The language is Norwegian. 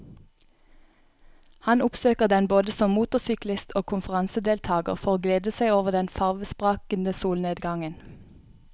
Han oppsøker den både som motorsyklist og konferansedeltager for å glede seg over den farvesprakende solnedgangen.